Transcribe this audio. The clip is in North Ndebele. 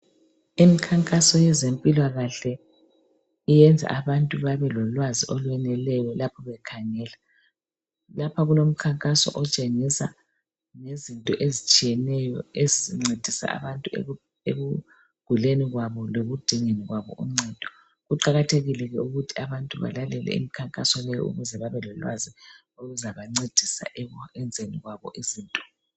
Imikhankaso yezempilakahle iyenza abantu babelolwazi olweneleyo lapho bekhangela. Lapha kulomkhankaso otshengisa ngezinto ezitshiyeneyo ezincedisa abantu ekuguleni kwabo lekudingeni kwabo uncedo. Kuqakathekile ke ukuthi abantu balalele imikhankaso leyi ukuze babelolwazi oluzabancedisa ekwenzeni kwabo izinto.